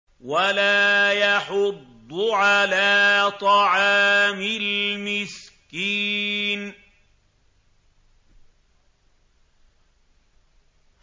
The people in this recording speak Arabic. وَلَا يَحُضُّ عَلَىٰ طَعَامِ الْمِسْكِينِ